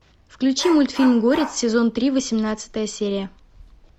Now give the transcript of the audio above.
включи мультфильм горец сезон три восемнадцатая серия